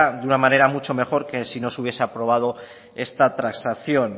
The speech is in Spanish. de una manera mucho mejor que si no se hubiese aprobado esta transacción